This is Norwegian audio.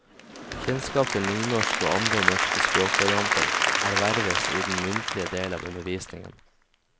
Kjennskap til nynorsk og andre norske språkvarianter erverves i den muntlige del av undervisningen.